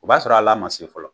O b'a sɔrɔ a l'a ma se fɔlɔ